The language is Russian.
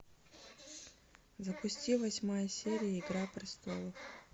запусти восьмая серия игра престолов